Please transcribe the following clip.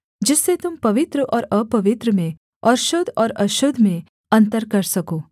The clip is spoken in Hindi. जिससे तुम पवित्र और अपवित्र में और शुद्ध और अशुद्ध में अन्तर कर सको